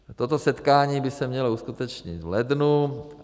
Toto setkání by se mělo uskutečnit v lednu.